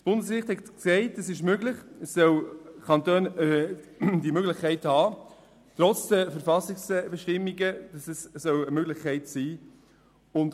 Das Bundesgericht hat entschieden, dass diese Möglichkeit für die Kantone trotz der Verfassungsbestimmungen bestehen soll.